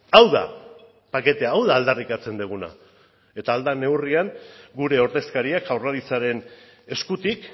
hau da paketea hau da aldarrikatzen duguna eta ahal den neurrian gure ordezkariak jaurlaritzaren eskutik